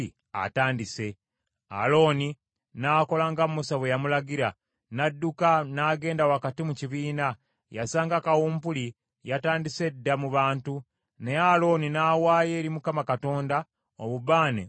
Alooni n’akola nga Musa bwe yamulagira, n’adduka n’agenda wakati mu kibiina. Yasanga kawumpuli yatandise dda mu bantu, naye Alooni n’awaayo eri Mukama Katonda obubaane okubatangiririra;